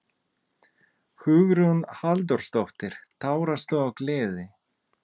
Hugrún Halldórsdóttir: Tárastu af gleði?